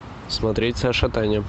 смотреть саша таня